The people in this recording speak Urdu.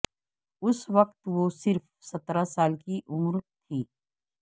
اس وقت وہ صرف سترہ سال کی عمر تھی